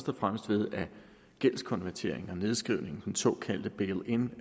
fremmest ved at gældskonvertering og nedskrivning den såkaldte bailin